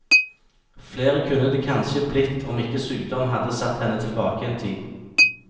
Flere kunne det kanskje blitt om ikke sykdom hadde satt henne tilbake en tid.